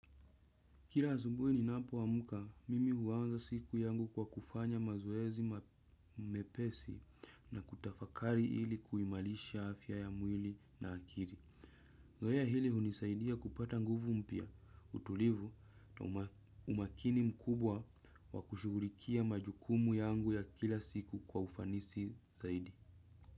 Kila asubuhi ninapoamka, mimi huanza siku yangu kwa kufanya mazoezi mepesi na kutafakari ili kuimarisha afya ya mwili na akili. Zoezi hili hunisaidia kupata nguvu mpya, utulivu na umakini mkubwa wa kushugulikia majukumu yangu ya kila siku kwa ufanisi zaidi.